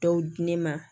Dɔw di ne ma